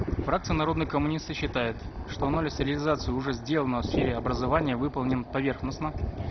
фракция народные коммунисты считает что анализ реализации уже сделанного в сфере образования выполнен поверхностно